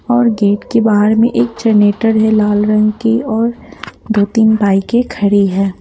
और गेट के बाहर में एक जनरेटर है लाल रंग की और दो तीन बाइके खड़ी हैं।